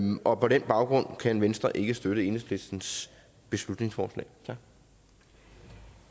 og på den baggrund kan venstre ikke støtte enhedslistens beslutningsforslag